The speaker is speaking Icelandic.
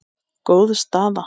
Góð staða.